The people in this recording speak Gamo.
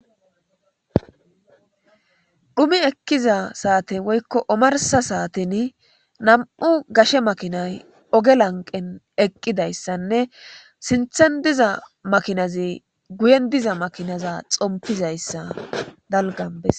Dhumi ekkiza saate woykko omarsa saaten nam'u gashe makinay oge lanqen eqqidayssanne sinthen diza makinaze guyen diza makinaza xompizayssa dalganbesa.